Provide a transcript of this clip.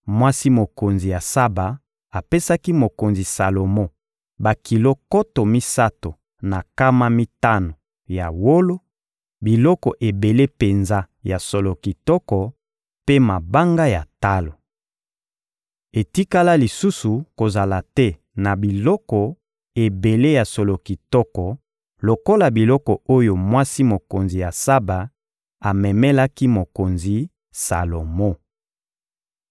Mwasi mokonzi ya Saba apesaki mokonzi Salomo bakilo nkoto misato na nkama mitano ya wolo, biloko ebele penza ya solo kitoko mpe mabanga ya talo. Etikala lisusu kozala te na biloko ebele ya solo kitoko lokola biloko oyo mwasi mokonzi ya Saba amemelaki mokonzi Salomo.